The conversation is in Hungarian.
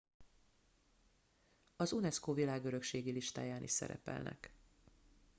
az unesco világörökségi listáján is szerepelnek